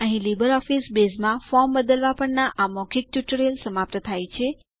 અહીં લીબરઓફીસ બેઝમાં ફોર્મ બદલવા પરના આ ટ્યુટોરીયલ સમાપ્ત થાય છે